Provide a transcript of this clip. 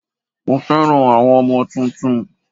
Mo fẹ́ràn àwọn ọmọ tuntun